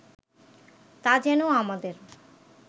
তা যেন আমাদের